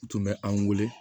U tun bɛ an wele